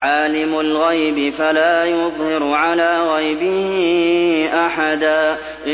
عَالِمُ الْغَيْبِ فَلَا يُظْهِرُ عَلَىٰ غَيْبِهِ أَحَدًا